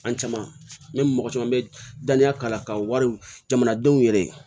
An caman bɛ mɔgɔ caman bɛ daniya k'a la ka wariw jamanadenw yɛrɛ ye